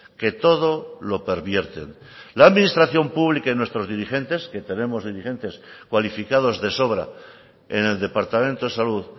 que todo lo pervierten la administración pública y nuestros dirigentes que tenemos dirigentes cualificados de sobra en el departamento de salud